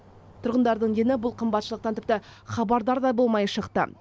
тұрғындардың дені бұл қымбатшылықтан тіпті хабардар да болмай шықты